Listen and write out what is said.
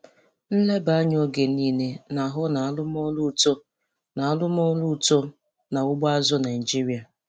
Nleba anya oge niile na-ahụ na arụmọrụ uto na arụmọrụ uto na ugbo azụ̀ Naịjiria.